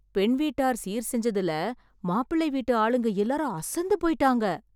பெண் வீட்டார் சீர் செஞ்சதுல மாப்பிள்ளை வீட்டு ஆளுங்க எல்லாரும் அசந்து போயிட்டாங்க